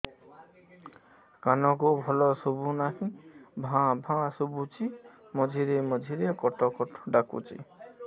କାନକୁ ଭଲ ଶୁଭୁ ନାହିଁ ଭାଆ ଭାଆ ଶୁଭୁଚି ମଝିରେ ମଝିରେ କଟ କଟ ଡାକୁଚି